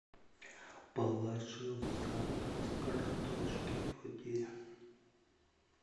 положи в заказ картошки фри